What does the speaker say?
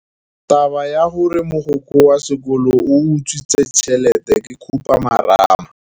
Taba ya gore mogokgo wa sekolo o utswitse tšhelete ke khupamarama.